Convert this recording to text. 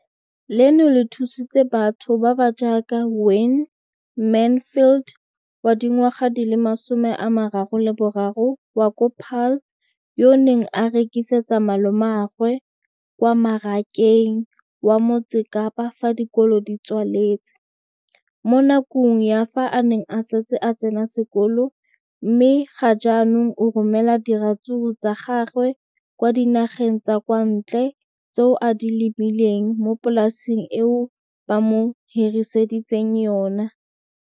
Leno le thusitse batho ba ba jaaka Wayne Mansfield, 33, wa kwa Paarl, yo a neng a rekisetsa malomagwe kwa Marakeng wa Motsekapa fa dikolo di tswaletse, mo nakong ya fa a ne a santse a tsena sekolo, mme ga jaanong o romela diratsuru tsa gagwe kwa dinageng tsa kwa ntle tseo a di lemileng mo polaseng eo ba mo hiriseditseng yona.